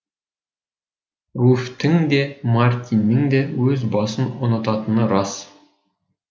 руфьтің де мартиннің өз басын ұнататыны рас